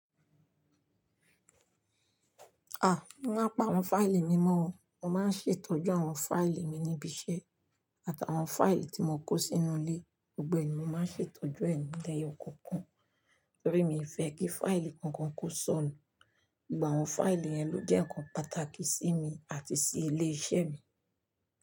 Mí màa pá àwọn fáìlì mi mọ́ o. Mo máa ń ṣètọ́jú àwọn fáìlì mi níbi iṣẹ́ àtàwọn fáìlì tí mo kó sínú ilé. Gbogbo èyí ni mo máa ń ṣètọ́jú ẹ̀ ní leyo ọ̀kọ̀ọ̀kan torí mi fẹ́ kí fáìlì kankan kó sọnù. Ìgbà àwọn fáìlì yẹn ló jẹ́ ǹkan pàtàkì sí mi àti sí ilé iṣẹ́ mi.